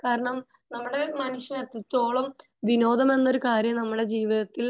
കാരണം നമ്മുടെ മനസിന് എത്രത്തോളം വിനോദം എന്ന ഒരു കാര്യംനമ്മുടെ ജീവിതത്തിൽ